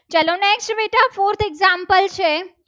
Simple છે.